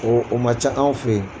O o ma ca an fɛ yen